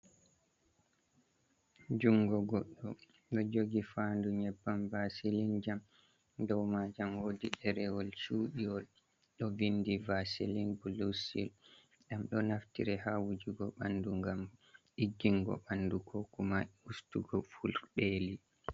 Jungo goɗɗo ɗo jogi fa'ndu nyebbam vasilin jam. Dau majam wodi derewol chudiwol, ɗo vindi vasilin blusil. Dam ɗo naftiri ha wujugo. Ɓandu ngam diggungo bandu ko kuma ustugo furteki.